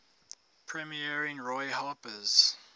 premiering roy harper's